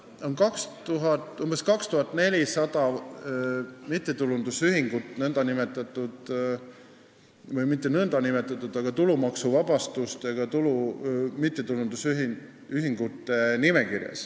Meil on praegu tulumaksuvabastusega mittetulundusühingute nimekirjas umbes 2400 mittetulundusühingut.